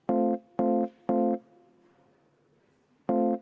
Põhjendused ei ole vajalikud.